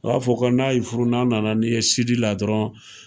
A b'a fɔ ko n'a y'i furu, n'a nana ni ye la dɔrɔn